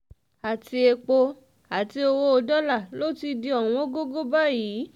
àti epo àti owó dọ́là ló ti di ọ̀wọ́ngọ̀gọ̀ báyìí